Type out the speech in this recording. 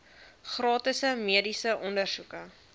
gratis mediese ondersoeke